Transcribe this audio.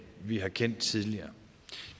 vi har kendt tidligere